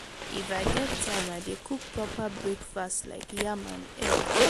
if i get time i dey cook proper breakfast like yam and egg.